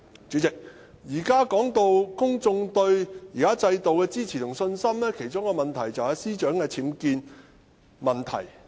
主席，談及公眾對現行制度的支持和信心，關鍵之一正正繫於司長的僭建問題。